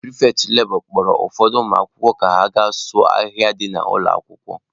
Pịrịfetị lebọ kpọrọ ụfọdụ ụmụakwụkwọ ka ha gaa sụọ ahịhịa dị n'ụlọ akwụkwọ.